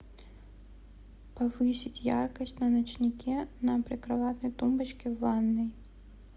повысить яркость на ночнике на прикроватной тумбочке в ванной